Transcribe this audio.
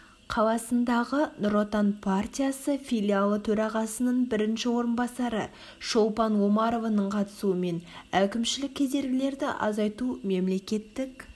қаласындағы нұр отан партиясы филиалы төрағасының бірінші орынбасары шолпан омарованың қатысуымен әкімшілік кедергілерді азайту мемлекеттік